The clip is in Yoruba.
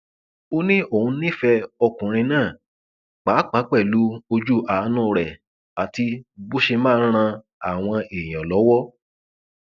ó ní òun nífẹẹ ọkùnrin náà pàápàá pẹlú ojú àánú rẹ àti bó ṣe máa ń ran àwọn èèyàn lọwọ